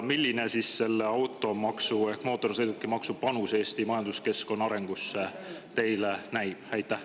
Millisena selle automaksu ehk mootorsõidukimaksu panus Eesti majanduskeskkonna arengusse teile näib?